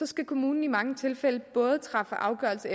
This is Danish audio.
skal kommunen i mange tilfælde træffe afgørelse